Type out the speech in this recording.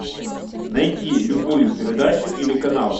найти любую передачу или канал